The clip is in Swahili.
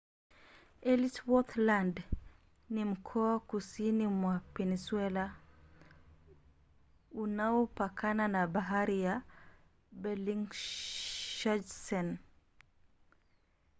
ellsworth land ni mkoa kusini mwa peninsula unaopakana na bahari la bellingshausen